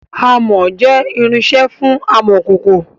Amọ̀ jẹ irinsẹ́ fún amọ̀kòkò